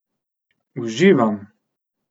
Uživam!